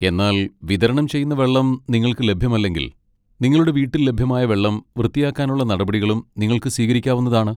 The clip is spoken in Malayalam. എന്നാൽ വിതരണം ചെയ്യുന്ന വെള്ളം നിങ്ങൾക്ക് ലഭ്യമല്ലെങ്കിൽ, നിങ്ങളുടെ വീട്ടിൽ ലഭ്യമായ വെള്ളം വൃത്തിയാക്കാനുള്ള നടപടികളും നിങ്ങൾക്ക് സ്വീകരിക്കാവുന്നതാണ്.